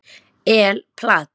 El Plat